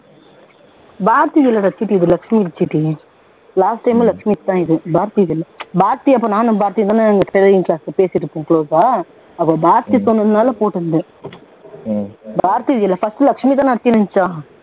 பாரதியிது இல்ல இது chit லட்சுமி இது chit last time மும் லட்சுமி இது தான் chit பாரதியிது இல்ல பாரதி அப்போ நானும் பாரதியும்தான sir கிட்ட பேசிகிட்டு இருக்கோம் close ஆ அப்போ பாரதி சொன்னதுனால போட்டு இருந்தேன் பாரதி இது இல்ல first லட்சுமிதான